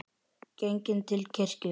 Genginn til kirkju.